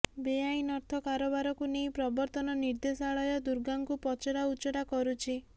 ବେଆଇନ ଅର୍ଥ କାରବାରକୁ ନେଇ ପ୍ରବର୍ତ୍ତନ ନିର୍ଦ୍ଦେଶାଳୟ ଦୁର୍ଗାଙ୍କୁ ପଚରାଉଚରା କରୁଛି